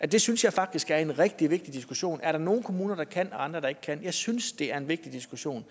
det synes jeg faktisk er en rigtig vigtig diskussion er der nogle kommuner der kan og andre kommuner der ikke kan jeg synes det er en vigtig diskussion